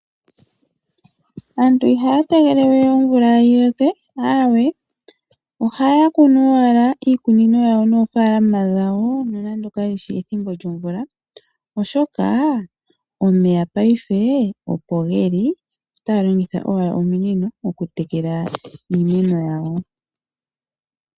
Aantu ihaya tegelele we omvula yi loke aawe ohaya kunu owala iikunino yawo noofaalama dhawo nonando kayishi ethimbo lyomvula oshoka omeya ngashingeyi opo geli otaya longitha owala ominino okutekela iimeno.